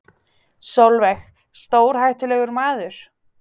Sólveig: Stórhættulegur maður?